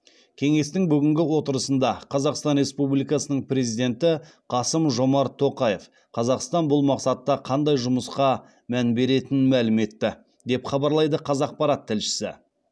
кеңестің бүгінгі отырысында қазақстан республикасының президенті қасым жомарт тоқаев қазақстан бұл мақсатта қандай жұмысқа мән беретінін мәлім етті деп хабарлайды қазақпарат тілшісі